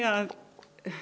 að